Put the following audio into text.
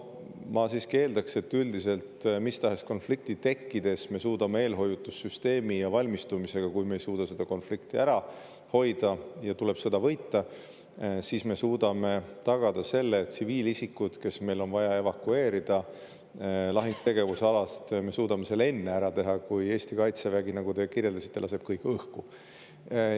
Ma siiski eeldan, et mis tahes konflikti tekkides, kui me ei suuda seda konflikti ära hoida ja tuleb sõda võita, me suudame eelhoiatussüsteemi ja valmistumisega tagada selle, et tsiviilisikud, keda on vaja evakueerida lahingutegevuse alast, me suudame evakueerida enne, kui Eesti kaitsevägi, nagu te kirjeldasite, kõik õhku laseb.